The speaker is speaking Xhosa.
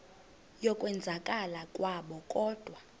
yokwenzakala kwabo kodwa